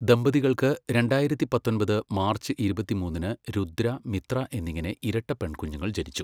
ദമ്പതികൾക്ക് രണ്ടായിരത്തി പത്തൊൻപത് മാർച്ച് ഇരുപത്തിമൂന്നിന് രുദ്ര, മിത്ര എന്നിങ്ങനെ ഇരട്ട പെൺകുഞ്ഞുങ്ങൾ ജനിച്ചു.